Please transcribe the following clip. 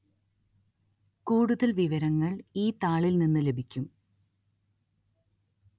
കൂടുതല്‍ വിവരങ്ങള്‍ ഈ താളില്‍ നിന്നു ലഭിക്കും